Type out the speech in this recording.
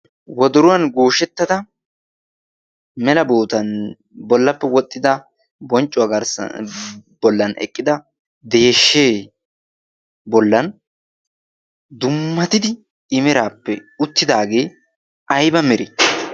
wodoruwaan gooshshettada mela bootan bollappe wooxxida bonccuwaa garssan bollaan eqqida deshshee bollaan dummatidi i meerappe uttidagee ayba meree?